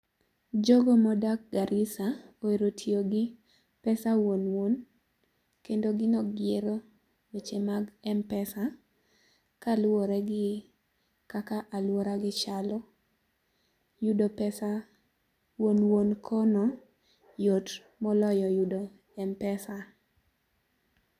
Jogo modak Garissa ohero tiyo gi pesa wuon wuon, kendo gin ok gihero weche mag m-pesa kaluwore gi kaka aluora gi chalo. Yudo pesa wuon wuon kono yot moloyo yudo m- pesa